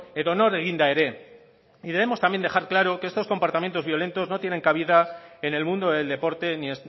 edonor eginda ere y debemos también dejar claro que estos comportamientos violentos no tienen cabida en el mundo del deporte ni